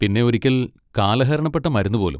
പിന്നെ ഒരിക്കൽ കാലഹരണപ്പെട്ട മരുന്ന് പോലും.